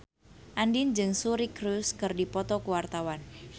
Andien jeung Suri Cruise keur dipoto ku wartawan